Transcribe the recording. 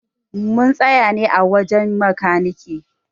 Mun tsaya ne a wajen makanike.